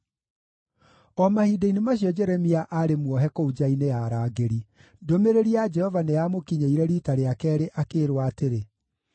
O mahinda-inĩ macio Jeremia aarĩ muohe kũu nja-inĩ ya arangĩri, ndũmĩrĩri ya Jehova nĩyamũkinyĩire riita rĩa keerĩ, akĩĩrwo atĩrĩ: